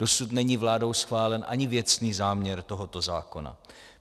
Dosud není vládou schválen ani věcný záměr tohoto zákona.